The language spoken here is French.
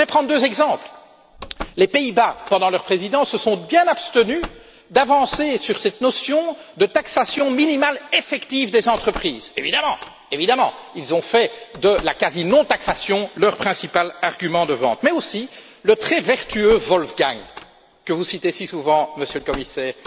Je voudrais prendre deux exemples les Pays Bas, pendant leur Présidence, se sont bien abstenus d'avancer sur cette notion d'imposition minimale effective des entreprises. Évidemment, ils ont fait de la quasi non imposition leur principal argument de vente. Mais aussi, le très vertueux Wolfgang Schäuble que vous citez si souvent, Monsieur le Commissaire